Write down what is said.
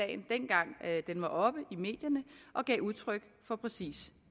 at den var oppe i medierne og gav udtryk for præcis